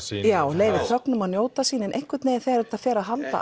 leyfir að njóta sín en einhvern veginn þegar þetta fer að halda